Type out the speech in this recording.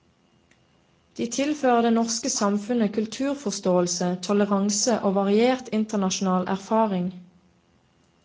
De tilfører det norske samfunn kulturforståelse, toleranse og variert internasjonal erfaring.